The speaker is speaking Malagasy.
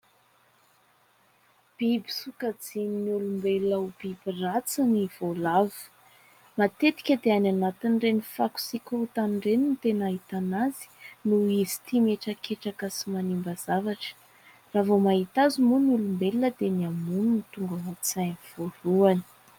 Biby sokajian'ny olombelona ho biby ratsy ny voalavo. Matetika dia any anatin'ireny fako sy korotana ireny no tena ahitana azy noho izy tia mihetraketraka sy manimba zavatra. Raha vao mahita azy moa ny olombelona dia ny hamono no tonga ao an-tsainy voalohany.